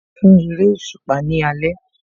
Mo lọ fún eréṣùpá ní alẹ́